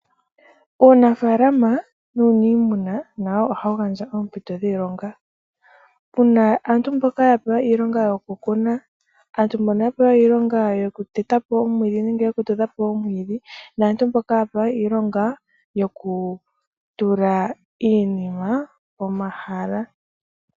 Uunafaalama nuuniimuna, nawo oha wu gandja oompito dhiilonga. Pu ma aantu mboka yoku kuna, aantu mbono ya pewa iilonga yoku teta po omwiidhi nenge yoku tudha po mwiidhi, naantu mboka ya pewa iilonga yoku tula iinima pomahala.